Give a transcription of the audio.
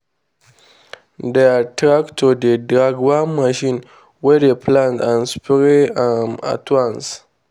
their tractor dey drag one machine wey dey plant and spray um at once.